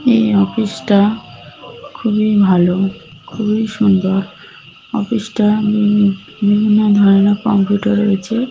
এই অফিস - টা খুবই ভালো খুবই সুন্দর অফিস -টা উম বিভিন্ন ধরনের কম্পিউটার রয়েছে--